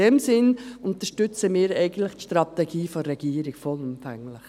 In diesem Sinn unterstützen wir eigentlich die Strategie der Regierung vollumfänglich.